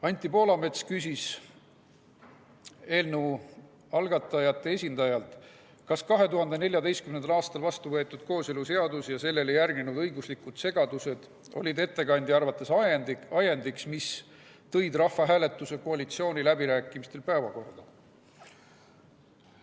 Anti Poolamets küsis eelnõu algatajate esindajalt, kas 2014. aastal vastuvõetud kooseluseadus ja sellele järgnenud õiguslikud segadused olid ettekandja arvates ajendiks, mis tõid rahvahääletuse koalitsiooniläbirääkimistel päevakorda.